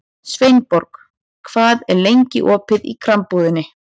Sveinborg, hvað er lengi opið í Krambúðinni?